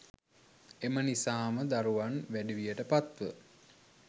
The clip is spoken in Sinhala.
එම නිසාම දරුවන් වැඩිවියට පත්ව